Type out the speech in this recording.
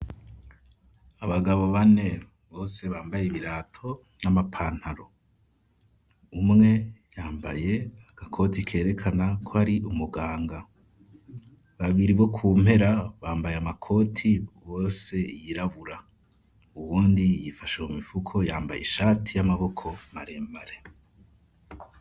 Abagabo bane bose bambaye ibirato n'amapantaro, umwe yambaye akakoti kerekana ko ari umuganga, babiri bo kumpera bambaye amakoti yose yirabura, uwundi yifashe mumifuko yambaye ishati y'amaboko marembare.